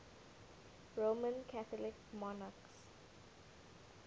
roman catholic monarchs